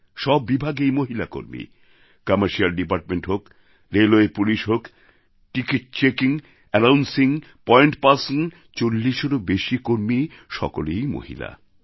সব বিভাগেই মহিলা কর্মী কমার্শিয়াল ডিপার্টমেন্ট হোক রেলওয়ে পুলিশ হোক ticket checking announcing point person চল্লিশেরও বেশি কর্মীর সকলেই মহিলা